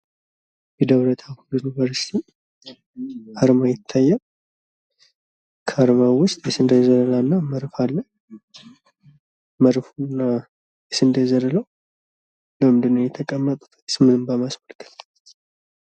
የደብረታቦር ዩኒቨርሲቲ አርማ ይታያሉ። ከአርማው ውስጥ መድፍና የስንዴ ዘለላው ለምንድን ነው የተቀመጡት ምስሉን በማስመልከት።